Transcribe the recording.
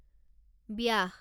ব্যাস